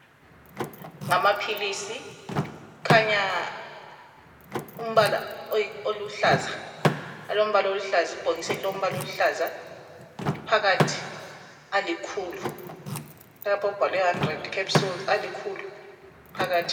Ngamaphilisi asebhokisini elilombala oluhlaza. Phakathi lamaphilisi alikhulu.